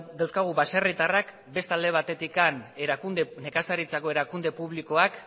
dauzkagu baserritarrak beste alde batetik nekazaritzako erakunde publikoak